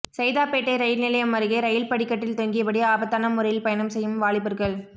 சைதாப்பேட்டை ரயில் நிலையம் அருகே ரயில் படிக்கட்டில் தொங்கியபடி ஆபத்தான முறையில் பயணம் செய்யும் வாலிபர்கள்